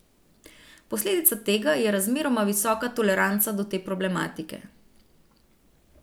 Posledica tega je razmeroma visoka toleranca do te problematike.